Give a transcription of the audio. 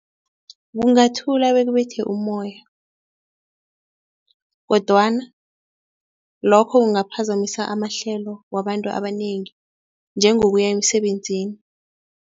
Ungathula bekubethe ummoya kodwana lokho kungaphazamisa amahlelo wabantu abanengi njengokuya emsebenzini.